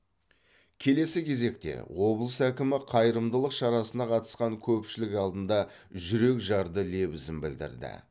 келесі кезекте облыс әкімі қайырымдылық шарасына қатысқан көпшілік алдында жүрекжарды лебізін білдірді